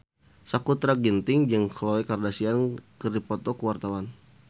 Sakutra Ginting jeung Khloe Kardashian keur dipoto ku wartawan